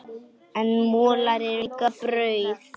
En molar eru líka brauð.